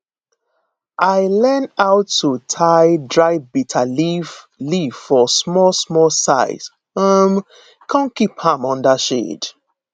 i learn how to tie dry bitterleaf leaf for small small size um come keep am under shade